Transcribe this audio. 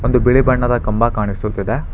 ಒಂದು ಬಿಳಿ ಬಣ್ಣದ ಕಂಬ ಕಾಣಿಸುತ್ತಿದೆ.